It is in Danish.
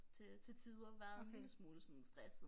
Til til tider været en lille smule sådan stresset